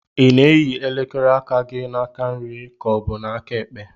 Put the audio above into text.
Ị na-eyi elekere aka na-aka nri ka ọ bụ na-aka ekpe?